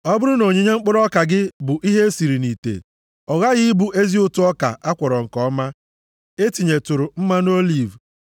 Ọ bụrụ na onyinye mkpụrụ ọka gị bụ ihe e siri nʼite, ọ ghaghị ịbụ ezi ụtụ ọka a kwọrọ nke ọma, e tinyetụrụ mmanụ oliv.